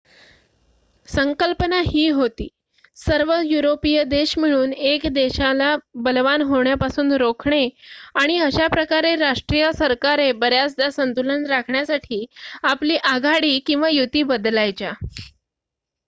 संकल्पना ही होती सर्व युरोपीय देश मिळून 1 देशाला बलवान होण्यापासून रोखणे आणि अशा प्रकारे राष्ट्रीय सरकारे बऱ्याचदा संतुलन राखण्यासाठी आपली आघाडी / युती बदलायच्या